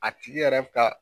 A tigi yɛrɛ ka